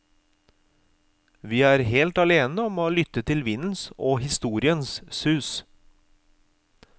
Vi er helt alene om å lytte til vindens og historiens sus.